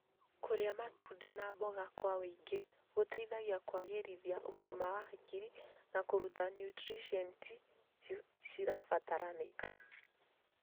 Kũrĩa matunda na mboga kwa wĩingĩ gũteithagia kũagĩrithia ũgima wa hakiri na kũruta niutrienti cirabataranĩka.